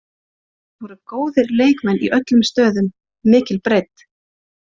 Það voru góðir leikmenn í öllum stöðum, mikil breidd.